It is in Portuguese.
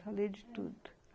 Falei de tudo.